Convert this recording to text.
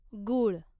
गूळ